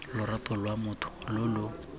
lorato lwa motho lo lo